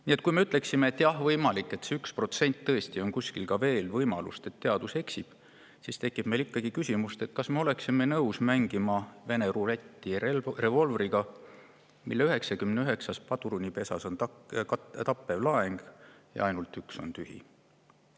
Nii et kui me ütleksime, et jah, võimalik, et tõesti on kuskil veel 1% võimalust, et teadus eksib, siis tekib ikkagi küsimus, kas me oleksime nõus mängima vene ruletti revolvriga, mille 99 padrunipesas on tappev laeng ja ainult üks on tühi.